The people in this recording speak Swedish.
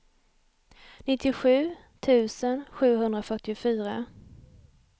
nittiosju tusen sjuhundrafyrtiofyra